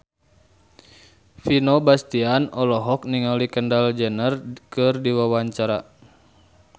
Vino Bastian olohok ningali Kendall Jenner keur diwawancara